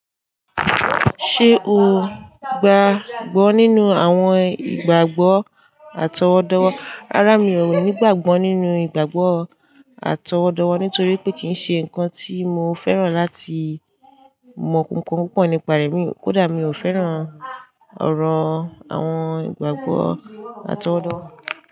Ṣé o gbàgbọ́ nínú àwọn ìgbàgbọ́ àtọwọ́dowo? Rárá, mi ò ní ìgbàgbọ́ nínú ìgbàgbọ́ àtọwọ́ddwo, nítorí pé kì í ṣe nǹkan tí mo fẹ́ràn láti mọ kankan púpọ̀ nípa rẹ̀, kódà mi ò fẹ́ràn ọ̀rọ̀ àwọn ìgbàgbọ́ àtọwọ́dowo.